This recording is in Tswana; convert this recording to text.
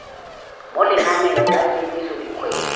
mo lenaneng la kemiso dikgwedi